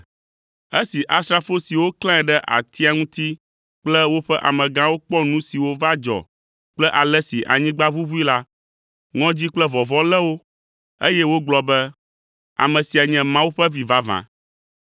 Esi asrafo siwo klãe ɖe atia ŋuti kple woƒe amegãwo kpɔ nu siwo va dzɔ kple ale si anyigba ʋuʋui la, ŋɔdzi kple vɔvɔ̃ lé wo, eye wogblɔ be, “Ame sia nye Mawu ƒe Vi vavã.”